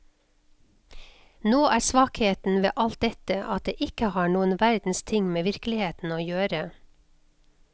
Nå er svakheten ved alt dette at det ikke har noen verdens ting med virkeligheten å gjøre.